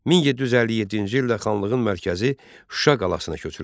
1757-ci ildə xanlığın mərkəzi Şuşa qalasına köçürülmüşdü.